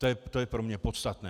To je pro mě podstatné.